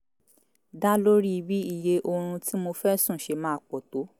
dá lórí bí iye oorun tí mo fẹ́ sùn ṣe máa pọ̀ tó